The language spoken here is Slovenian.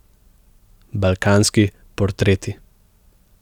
Balkanski portreti.